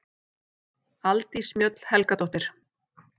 Aldís Mjöll Helgadóttir